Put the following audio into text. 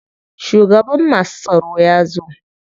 Shugaban masu tsaro ya zo.